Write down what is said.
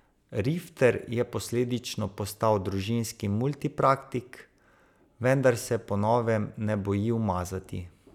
Rifter je posledično postal družinski multipraktik, vendar se po novem ne boji umazati.